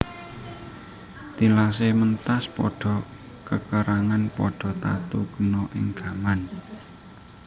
Tilasé mentas padha kekerangan padha tatu kena ing gaman